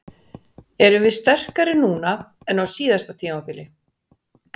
Erum við sterkari en á síðasta tímabili?